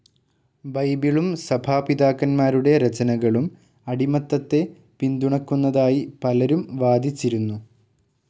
ബൈബിളും സഭാപിതാക്കന്മാരുടെ രചനകളും അടിമത്തത്തെ പിന്തുണക്കുന്നതായി പലരും വാദിച്ചിരുന്നു.